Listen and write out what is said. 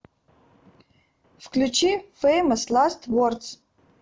включи фэймос ласт вордс